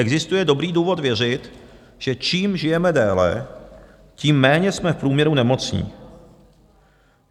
Existuje dobrý důvod věřit, že čím žijeme déle, tím méně jsme v průměru nemocní.